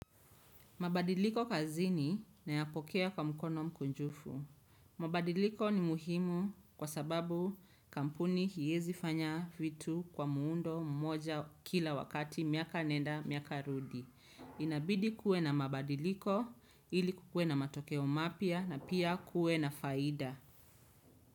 Mabadiliko kazini na ya pokea kwa mkono mkunjufu. Mabadiliko ni muhimu kwa sababu kampuni haiwezi fanya vitu kwa muundo mmoja kila wakati miaka nenda miaka rudi inabidi kuwe na mabadiliko ili kukue na matokeo mapya na pia kue na faida.